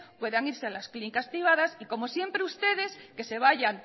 puedan irse a las clínicas privadas y como siempre ustedes que se vayan